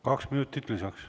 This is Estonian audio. Kaks minutit lisaks.